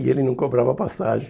E ele não cobrava passagem.